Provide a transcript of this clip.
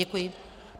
Děkuji.